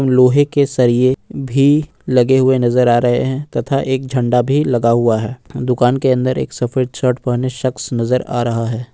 लोहे के सरिया भी लगे हुए नजर आ रहे हैं तथा एक झंडा भी लगा हुआ है दुकान के अंदर एक सफेद शर्ट पहने शख्स नजर आ रहा है।